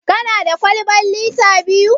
Kana da kwalban lita biyu?